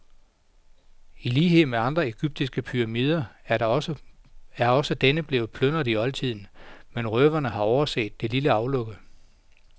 I lighed med andre egyptiske pyramider er også denne blevet plyndret i oldtiden, men røverne har overset det lille aflukke.